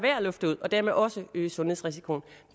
lufte ud og dermed også øge sundhedsrisikoen